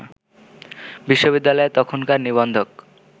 বিশ্ববিদ্যালয়ের তখনকার নিবন্ধক